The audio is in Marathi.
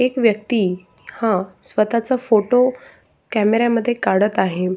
एक व्यक्ती हा स्वतःचा फोटो कॅमेऱ्या मध्ये काढत आहे.